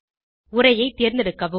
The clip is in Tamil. உரையைத் தேர்ந்தெடுக்கவும்